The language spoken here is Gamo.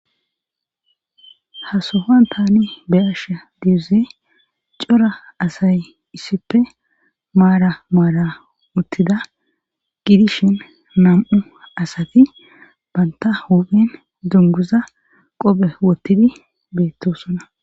Hasohon tani be asha diuze cora asay issife maara maara uttida gidishin nam7u asati banta hophen dunguza qophe wottidi beettosona